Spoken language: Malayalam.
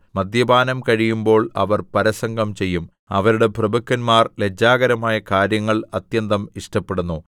മദ്യപാനം കഴിയുമ്പോൾ അവർ പരസംഗം ചെയ്യും അവരുടെ പ്രഭുക്കന്മാർ ലജ്ജാകരമായ കാര്യങ്ങൾ അത്യന്തം ഇഷ്ടപ്പെടുന്നു